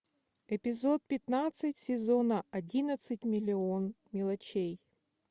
эпизод пятнадцать сезона одиннадцать миллион мелочей